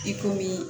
I komi